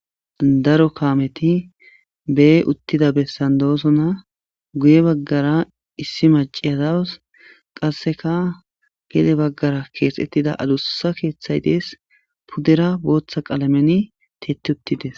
daro kaameti bee uttida bessan doosona guye baggara issi maciya daws qasseka gede baggara keexettida adussa keeththay dees puddera booththa qalameni tiyeti uttides